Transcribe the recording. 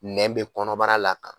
Nɛ bɛ kɔnɔbara la